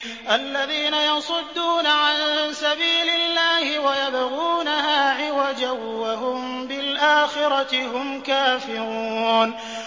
الَّذِينَ يَصُدُّونَ عَن سَبِيلِ اللَّهِ وَيَبْغُونَهَا عِوَجًا وَهُم بِالْآخِرَةِ هُمْ كَافِرُونَ